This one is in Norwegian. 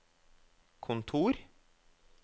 kontor